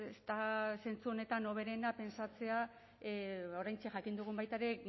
ez da zentzu honetan hoberena pentsatzea oraintxe jakin dugun baita ere